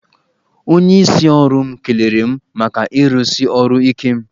Onyeisi ọrụ m kelere m maka irusi ọrụ ike m.